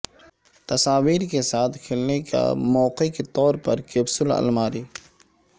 تصاویر کے ساتھ کھیلنے کا موقع کے طور پر کیپسول الماری